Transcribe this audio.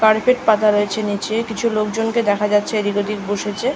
Carpet পাতা রয়েছে নীচে কিছু লোকজন কে দেখা যাচ্ছে এদিক ওদিক বসেছে।